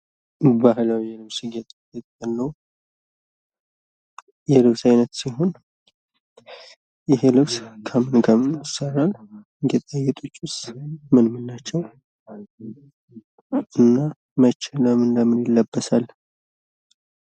ባህላዊ የልብስ ጌጥ የልብስ አይነት ሲሆን ይሄ ልብስ ከምን ከምን ይሰራል? ጌጣጌጦቹስ ምን ምን ናቸው? እና ለምን ለምን ይለበሳል?